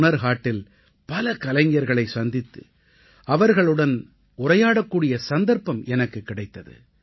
ஹுனர் ஹாட்டில் பல கலைஞர்களைச் சந்தித்து அவர்களுடன் உரையாடக்கூடிய சந்தர்ப்பம் எனக்குக் கிடைத்தது